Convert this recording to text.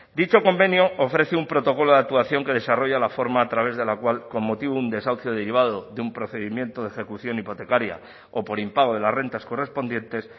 dicho convenio ofrece un protocolo de actuación que desarrolla la forma a través de la cual con motivo de un desahucio derivado de un procedimiento de ejecución hipotecaria o por impago de las rentas correspondientes